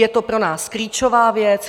Je to pro nás klíčová věc.